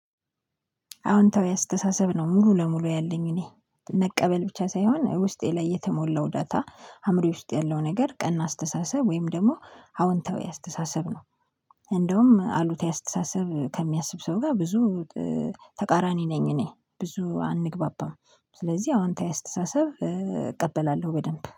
አዎንታዊ አስተሳሰብ ነው ሙሉ ለሙሉ ያለኝ እኔ መቀበል ብቻ ሳይሆን ውስጤ ላይ የተሞላው ዳታ አእምሮዬ ውስጥ ያለው ነገር ቀና አስተሳሰብ ወይም ደግሞ አዎንተው የአስተሳሰብ ነው። እንደውም አሉታዊ አስተሳሰብ ከሚያስብ ሰው ጋር ብዙ ተቃራኒ ነኝ። እኔ ብዙ አንግባባም ስለዚህ አዋንታ አስተሳሰብ እቀበላለሁ በደንብ